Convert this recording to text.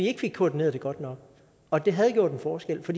ikke koordineret det godt nok og det havde gjort en forskel for